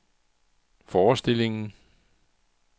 forestillingen